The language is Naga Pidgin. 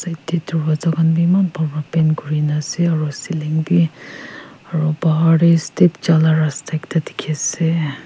Side dae dorwaja khan bhi eman phal para paint kurina ase aro ceiling bhi aro bahar dae step jaila rasta ekta dekhey ase.